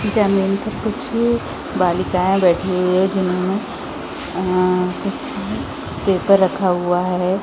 --ज़मीन पर कुछ बालिकाऐं बैठी हुई है जिन्होंने अअअ कुछ पेपर रखा हुआ है।